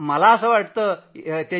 असं नाहीय